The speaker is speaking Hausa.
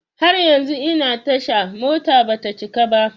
Har yanzu ina tasha, motar bata cika ba.